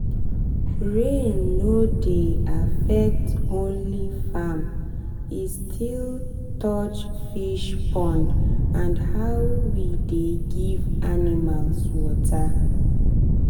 rain no dey affect only farm e still touch fish pond and how we dey give animals water.